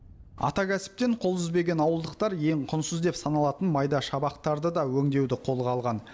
ата кәсіптен қол үзбеген ауылдықтар ең құнсыз деп саналатын майда шабақтарды да өңдеуді қолға алған